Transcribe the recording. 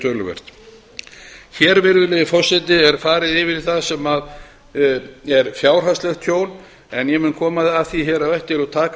töluvert hér virðulegi forseti er farið yfir það sem er fjárhagslegt tjón en ég koma að því hér á eftir og taka